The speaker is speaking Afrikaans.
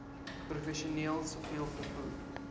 professioneel siviel vervoer